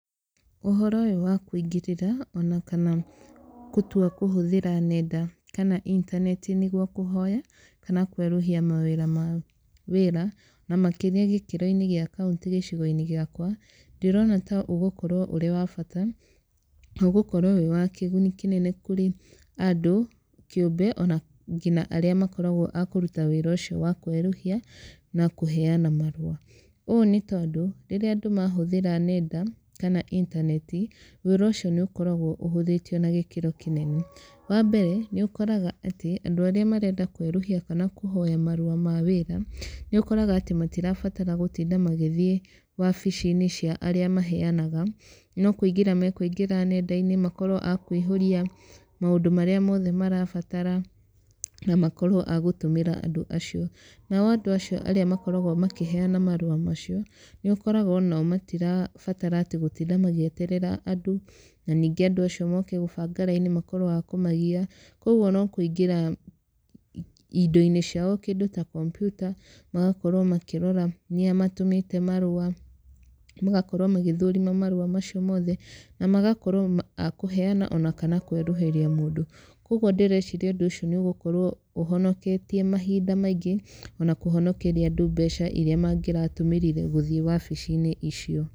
Ũhoro ũyũ wa kũingĩrĩra ona kana gũtua kũhũthĩra nenda kana internet nĩgũo kũhoya kana kwerũhia marũa ma wĩra na makĩria gĩkĩroi-inĩ gĩa kauntĩ gĩcigo-inĩ gĩakwa ndĩrona ta ũgũkorwo ũrĩ wa bata, ũgũkorwo wĩ wa kĩgũni kĩnene kũrĩ andũ kiũmbe o na nginya aría makoragwo a kũruta wĩra ũcio wa kwerũhia na kũheana marũa. Ũũ nĩ tondũ rĩrĩa andũ mahũthĩra nenda kana internet wĩra ũcio nĩ ũkoragwo ũhũthĩtio na gĩkĩro kĩnene. Wa mbere nĩ ũkoraga atĩ andũ arĩa marenda kwerũhia kana kũhoya marũa ma wĩra nĩ ũkoraga atĩ matirabatara gũtinda magĩthĩe wabici-inĩ cĩa arĩa maheanaga, no kũingĩra makũingĩra nenda-inĩ makorwo a kũihũria maũndu maria mothe marabatara na makorwo a gũtũmĩra andũ acio. Nao andũ acio arĩa makoragwo makĩheana marũa macio, nĩ ũkoraga onao matirabatara atĩ gũtinda magĩeterera andu na nĩngĩ andũ acio moke gũbanga laini makorwo a kũmagĩa. Kogũo no kũingĩra indo-inĩ ciao, kĩndũ ta computer magakorwo makĩrora nĩa matũmĩte marũa, magakorwo magĩthũrima marũa macio mothe na magakorwo a kũheana ona kana kwerũhĩria mũndũ. Koguo ndĩrecirĩa ũndũ ũcio nĩ ũgũkorwo ũhonoketie mahinda maingĩ ona kũhonekeria andũ mbeca iria mangĩratũmĩrire gũthiĩ wabici-inĩ icio.